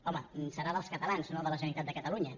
home deu ser dels catalans no de la generalitat de catalunya